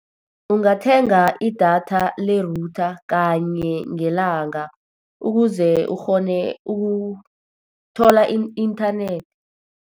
Ungathenga idatha le-router kanye ngelanga, ukuze ukghone ukuthola i-inthanethi.